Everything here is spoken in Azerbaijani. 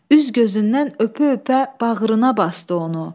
Üz gözündən öpə-öpə bağrına basdı onu.